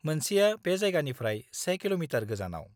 मोनसेया बे जायगानिफ्राय 1 किल'मिटार गोजानाव।